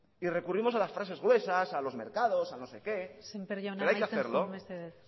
y recurrimos a las frases gruesas a los mercados al no sé qué pero hay que hacerlo semper jauna amaitzen joan mesedez